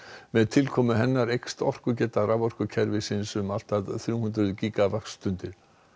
með tilkomu hennar eykst orkugeta raforkukerfisins um allt að þrjú hundruð gígavattstundir